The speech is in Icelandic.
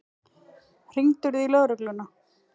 Hringdirðu í lögregluna?